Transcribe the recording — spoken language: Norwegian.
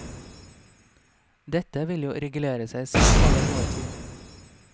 Dette vil jo regulere seg selv over noe tid.